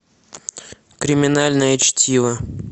криминальное чтиво